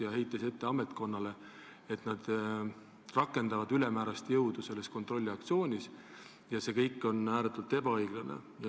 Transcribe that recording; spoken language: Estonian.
Ta heitis ametkonnale ette, et nad rakendavad selles kontrolliaktsioonis ülemäärast jõudu ja et see on ääretult ebaõiglane.